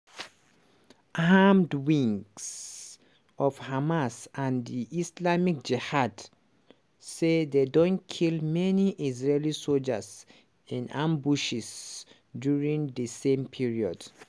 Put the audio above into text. armed wings of hamas and di islamic jihad say dem don kill many israeli sojas in ambushes during di same period.